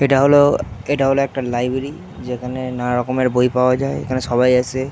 এটা হল এটা হল একটা লাইবেরী যেখানে নানা রকমের বই পাওয়া যায় এখানে সবাই আসে --